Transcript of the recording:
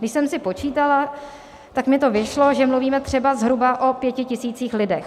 Když jsem si počítala, tak mi to vyšlo, že mluvíme třeba zhruba o pěti tisících lidech.